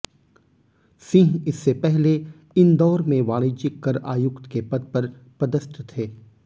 सिंह इससे पहले इंदौर में वाणिज्यिक कर आयुक्त के पद पर पदस्थ थे